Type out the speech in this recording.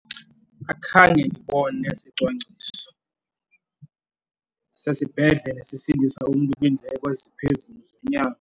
Akhange ndibone sicwangciso sesibhedlele sisindisa umntu kwiindleko eziphezulu zonyango.